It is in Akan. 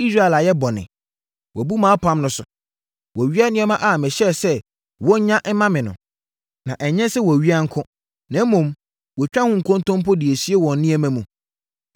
Israel ayɛ bɔne. Wɔabu mʼapam no so. Wɔawia nneɛma a mehyɛɛ sɛ wɔnnya mma me no. Na ɛnyɛ sɛ wɔawia nko, na mmom, wɔatwa ho nkontompo de asie wɔn nneɛma mu.